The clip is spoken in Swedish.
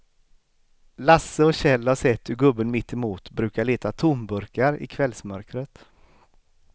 Lasse och Kjell har sett hur gubben mittemot brukar leta tomburkar i kvällsmörkret.